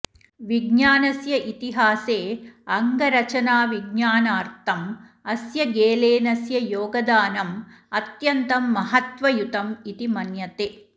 विज्ञानस्य इतिहासे अङ्गरचनाविज्ञानार्थम् अस्य गेलेनस्य योगदानं अत्यन्तं महत्त्वयुतम् इति मन्यते